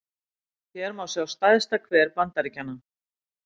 hér má sjá stærsta hver bandaríkjanna